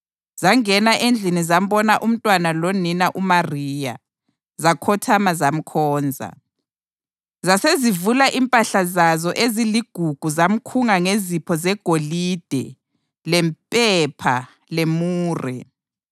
Zangena endlini zambona umntwana lonina uMariya, zakhothama zamkhonza. Zasezivula impahla zazo eziligugu zamkhunga ngezipho zegolide lempepha lemure.